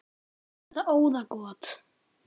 Var þetta óðagot?